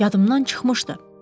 Yadımdan çıxmışdı.